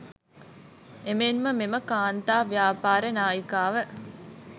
එමෙන්ම මෙම කාන්තා ව්‍යාපාර නායිකාව